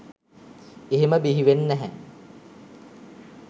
එහෙම බිහිවෙන් නැහැ.